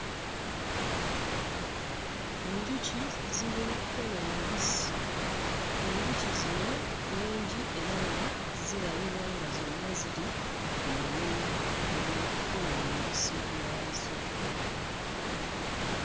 Enjuki ziri mu kkola omubisi. Enjuki zino nnyingi era nga zirabibwa nga zonna ziri ku mulimu ogw'okukola omubisi gwazo.